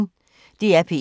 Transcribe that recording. DR P1